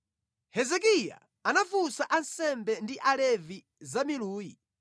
Hezekiya anafunsa ansembe ndi Alevi za miluyi;